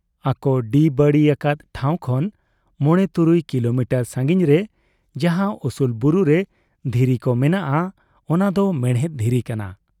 ᱟᱠᱚ ᱰᱤ ᱵᱟᱹᱲᱤ ᱟᱠᱟᱫ ᱴᱷᱟᱶ ᱠᱷᱚᱱ ᱢᱚᱬᱮ ᱛᱩᱨᱩᱭ ᱠᱤᱞᱚᱢᱤᱴᱟᱨ ᱥᱟᱺᱜᱤᱧ ᱨᱮ ᱡᱟᱦᱟᱸ ᱩᱥᱩᱞ ᱵᱩᱨᱩ ᱨᱮ ᱫᱷᱤᱨᱤ ᱠᱚ ᱢᱮᱱᱟᱜ ᱟ, ᱚᱱᱟ ᱫᱚ ᱢᱮᱬᱦᱮᱫ ᱫᱷᱤᱨᱤ ᱠᱟᱱᱟ ᱾